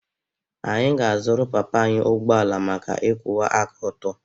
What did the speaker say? Anyị ga-azụrụ papa anyị ụgbọ ala maka ịkwụwa aka ọtọ.